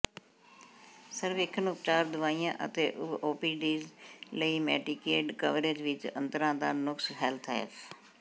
ਸਰਵੇਖਣ ਉਪਚਾਰ ਦਵਾਈਆਂ ਅਤੇ ਓਪੀਔਡਜ਼ ਲਈ ਮੇਡੀਕੇਡ ਕਵਰੇਜ ਵਿਚ ਅੰਤਰਾਂ ਦਾ ਨੁਕਸ ਹੈਲਥ ਐਫ